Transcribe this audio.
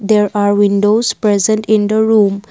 there are windows present in the room.